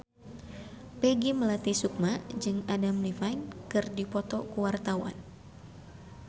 Peggy Melati Sukma jeung Adam Levine keur dipoto ku wartawan